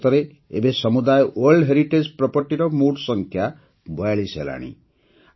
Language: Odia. ଭାରତରେ ଏବେ ସମୁଦାୟ ୱାର୍ଲ୍ଡ ହେରିଟେଜ୍ ପ୍ରପର୍ଟିର ମୋଟ ସଂଖ୍ୟା ୪୨ ହେଲାଣି